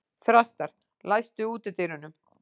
Þrastar, læstu útidyrunum.